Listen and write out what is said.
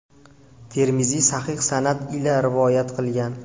Termiziy sahih sanad ila rivoyat qilgan.